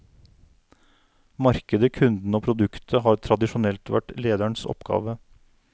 Markedet, kundene og produktet har tradisjonelt vært lederens oppgave.